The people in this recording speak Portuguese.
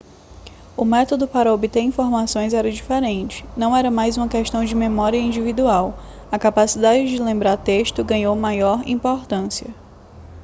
o método para obter informações era diferente não era mais uma questão de memória individual a capacidade de lembrar texto ganhou maior importância